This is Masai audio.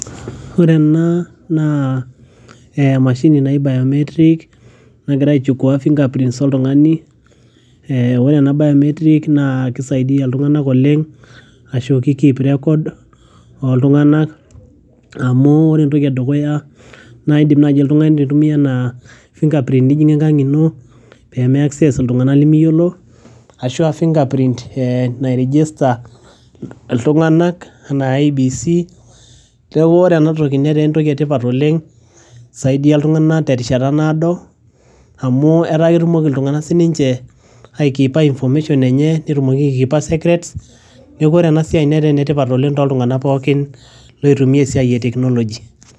ore ena naa eh, emashini naji biometric nagira aichukua fingerprints oltung'ani eh, ore ena biometric naa kisaidia iltung'anak oleng ashu ki keep record oltung'anak amu ore entoki edukuya naa idim naaji oltung'ani aitumia ena fingerprint nijing'ie enkang ino peme access iltung'anak limiyiolo ashua fingerprint eh nae register iltung'anak anaa IEBC neeku ore enatoki netaa entoki etipat oleng isaidia iltung'anak terishata naado amu etaa ketumoki iltung'anak sininche aikipa information enye netumoki ae kipa secrets neeku ore ena siai netaa enetipat oleng toltung'anak pookin loitumia esiai e technology.